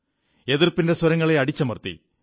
എതിർപ്പിന്റെ സ്വരങ്ങളെ അടിച്ചമർത്തി